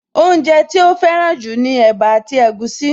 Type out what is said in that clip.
Oúnjẹ tí ó fẹ́ràn jù ni ẹ̀bá àti egusi